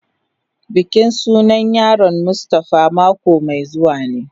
Bikin sunan yaron mustafa mako mai zuwa ne.